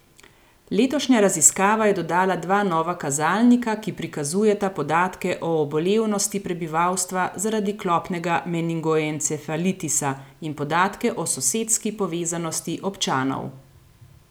Letošnja raziskava je dodala dva nova kazalnika, ki prikazujeta podatke o obolevnosti prebivalstva zaradi klopnega meningoencefalitisa in podatke o sosedski povezanosti občanov.